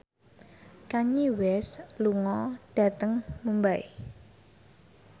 Kanye West lunga dhateng Mumbai